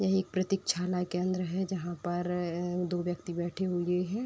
ये एक प्रतीक्षाशाला केंद्र है। जहाँ पर दो व्यक्ति बैठे हुए हैं।